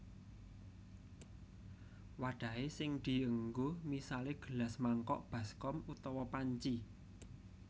Wadahe sing dienggo misale gelas mangkok baskom utawa panci